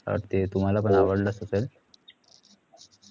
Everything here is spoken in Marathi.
ते तुमाला पण आवडलं असेल तर